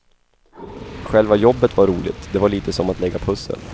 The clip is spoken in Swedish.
Själva jobbet var roligt, det var lite som att lägga pussel.